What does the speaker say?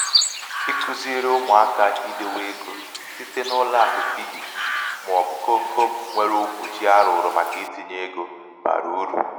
ikuziri ụmụaka idēwē ikuziri ụmụaka idēwē egō site n’ijì̀ n’ụlọ̄àkụ piggy màọ̀bụ̀ komkom nwere okwùchi a rụ̀rụ̀ màkà itīnyē egō bàrà urù.